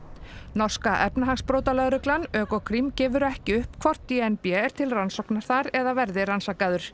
norska efnahagsbrotalögreglan Ökokrim gefur ekki upp hvort d n b er til rannsóknar þar eða verði rannsakaður